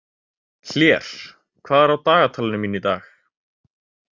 Hlér, hvað er á dagatalinu mínu í dag?